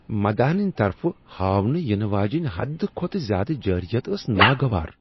مداحن ہنٛد طرفہٕ ہاونہٕ ینہٕ واجیٚنۍ حد کھوتہٕ زیادٕ جارحیت ٲس ناگوار۔